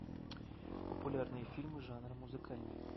популярные фильмы жанра музыкальный